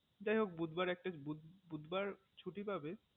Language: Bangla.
যাই হোক বুধবার একটা বুধবার ছুটি পাবে